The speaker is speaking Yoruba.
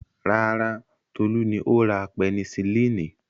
Rárá, Tolú ni ó ra pẹnisilínì.